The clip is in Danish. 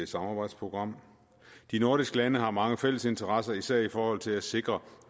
samarbejdsprogram de nordiske lande har mange fælles interesser især i forhold til at sikre